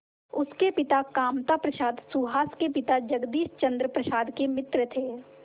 उसके पिता कामता प्रसाद सुहास के पिता जगदीश चंद्र प्रसाद के मित्र थे